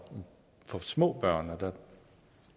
små børn der